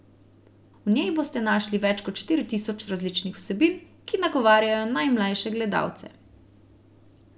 V njej boste našli več kot štiri tisoč različnih vsebin, ki nagovarjajo najmlajše gledalce.